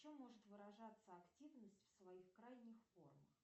в чем может выражаться активность в своих крайних формах